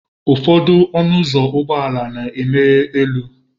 Ụfọdụ ọnụ ụzọ ụgbọ ala na-emeghe elu.